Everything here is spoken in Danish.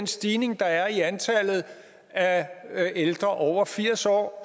stigning der er i antallet af ældre over firs år